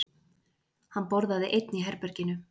Hann borðaði einn í herberginu.